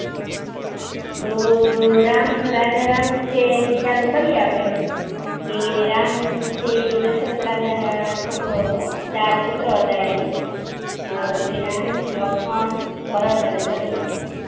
તો રામ રાજારામ વિશે થી ચાલુ કરીયે આપણે કે રામ છે એ દશરથ રાજા ના છોકરો હતો. ચાર પુત્ર હતા એને શ્રીરામ, લક્ષ્મણ, ભરત, અને શત્રુઘ્ન.